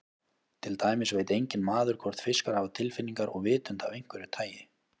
Til dæmis veit enginn maður hvort fiskar hafa tilfinningar og vitund af einhverju tagi.